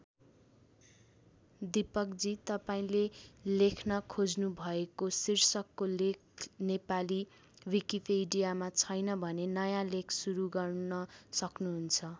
दिपकजी तपाईँले लेख्न खोज्नुभएको शीर्षकको लेख नेपाली विकिपीडियामा छैन भने नयाँ लेख सुरू गर्न सक्नुहुन्छ।